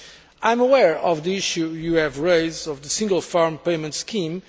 I am aware of the issue you have raised of the single farm payment scheme.